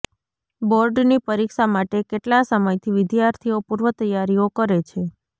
બોર્ડની પરીક્ષા માટે કેટલા સમયથી વિદ્યાર્થીઓ પૂર્વ તૈયારીઓ કરે છે